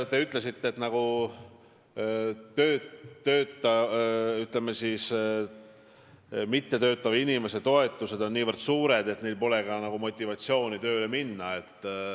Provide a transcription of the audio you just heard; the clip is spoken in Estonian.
Te ütlesite, et mittetöötava inimese toetused on niivõrd suured, et neil pole motivatsiooni tööle minna.